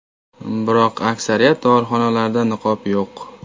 Biroq aksariyat dorixonalarda niqob yo‘q.